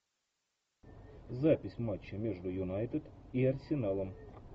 запись матча между юнайтед и арсеналом